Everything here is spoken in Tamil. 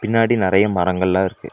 பின்னாடி நெறைய மரங்கள் எல்லா இருக்கு.